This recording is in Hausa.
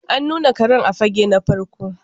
An nuna Karen a fage na farko.